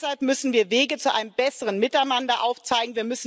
Deshalb müssen wir Wege zu einem besseren Miteinander aufzeigen.